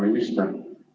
Hea minister!